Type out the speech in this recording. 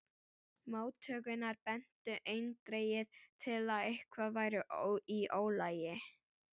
Móttökurnar bentu eindregið til að eitthvað væri í ólagi.